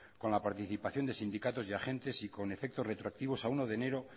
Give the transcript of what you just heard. con la participación de sindicatos y agentes y con efectos retroactivos a uno de enero